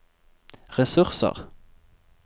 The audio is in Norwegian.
ressurser